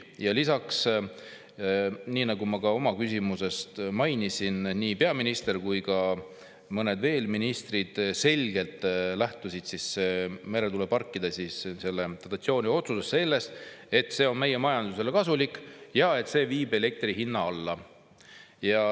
Ja lisaks, nagu ma ka oma küsimuses mainisin, peaminister ja veel mõned ministrid selgelt lähtusid meretuuleparkide dotatsiooni otsuses sellest, et see on meie majandusele kasulik ja viib elektri hinna alla.